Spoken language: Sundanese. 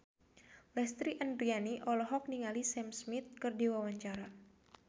Lesti Andryani olohok ningali Sam Smith keur diwawancara